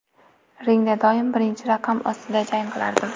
Ringda doim birinchi raqam ostida jang qilardim.